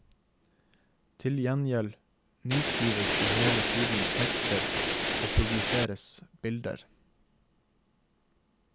Til gjengjeld nyskrives det hele tiden tekster og produseres bilder.